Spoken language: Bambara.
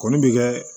Kɔni bɛ kɛ